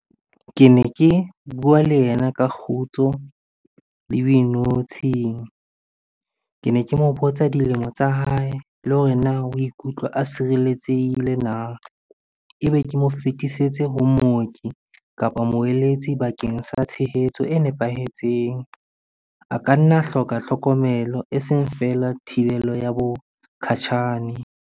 Ke ne ke bua le yena ka kgotso le boinotshing. Ke ne ke mo botsa dilemo tsa hae le hore na o ikutlwa a sireletsehile na? Ebe ke mo fetisetse ho mooki kapa moeletsi bakeng sa tshehetso e nepahetseng. A ka nna hloka tlhokomelo, eseng feela thibelo ya bokgatjhane.